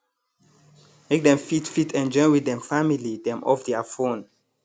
make dem fit fit enjoy with dem family dem off thier phone